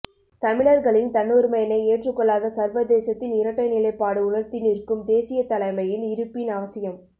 தமிழர்களின் தன்னுரிமையினை ஏற்றுக் கொள்ளாத சர்வதேசத்தின் இரட்டை நிலைப்பாடு உணர்த்தி நிற்கும் தேசியத் தலைமையின் இருப்பின் அவசியம்